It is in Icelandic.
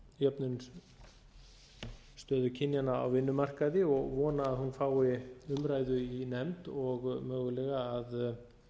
jöfnun á stöðu kynjanna á vinnumarkaði og vona að hún fái umræðu í nefnd og mögulega að